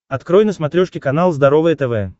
открой на смотрешке канал здоровое тв